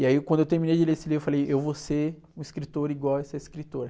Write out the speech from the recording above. E aí, quando eu terminei de ler esse livro, eu falei, eu vou ser um escritor igual a essa escritora.